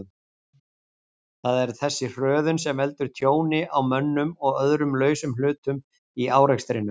Það er þessi hröðun sem veldur tjóni á mönnum og öðrum lausum hlutum í árekstrinum.